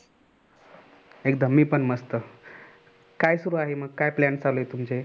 एकदम मी पण मस्त काय सुरु आहे मग काय plan चालू आहे तुमचे